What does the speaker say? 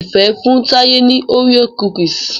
Ifẹ fún Taye ní Oreo cookies